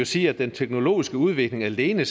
sige at den teknologiske udvikling alene